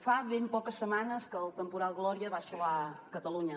fa ben poques setmanes que el temporal gloria va assolar catalunya